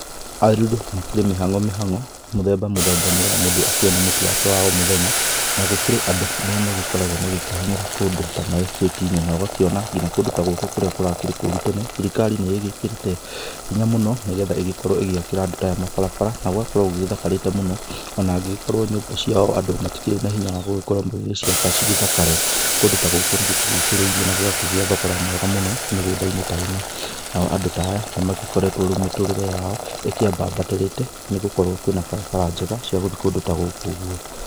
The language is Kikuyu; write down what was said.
Aruru makĩrĩ mĩhango mĩhango, mũthemba mũthemba nĩgetha mũndũ akĩone mũtu wake wa o mũthenya ,na gũkĩrĩ andũ arĩa makoragwo magĩkĩhang'ĩra kũndũ ta maectati-inĩ na ũgakĩona nginya kũndũ ta gũkũ kũrakĩrĩ kũrũ tene thirikari nĩ igĩkĩrĩte hinya mũno nĩgetha igĩkorwo ĩgĩakĩra andũ ta aya mabarabara na gũgagĩkorwo gũgĩthakarĩte mũno ona agĩkorwo nyũmba ciao andũ matikĩrĩ na hinya wa gũkorwo magĩgĩciaka cigĩthakare, kũndũ ta gũkũ nĩgũkĩgũcĩrĩirie na gũgakĩgĩa thogora mwega mũno mĩgũnda-inĩ ta eno, nao andũ ta aya nĩ magĩkoretwo rĩu mĩtũrĩre yao ĩkĩambambatarĩte nĩgũkorwo kwĩna barabara njega cia gũthiĩ kũndũ ta gũkũ ũgũo.